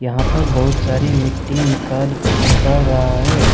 यहां पर बहुत सारी मिट्टी निकाल कर निकाल रहा है।